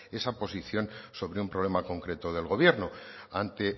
esa posición sobre un problema concreto del gobierno ante